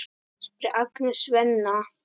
spyr Agnes Svenna.